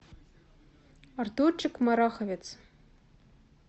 артурчик мараховец